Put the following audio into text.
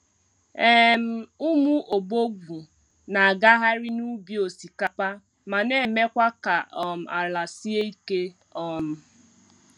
um Ụmụ ọbọgwụ na-agagharị n’ubi osikapa ma na-emekwa ka um ala sie ike. um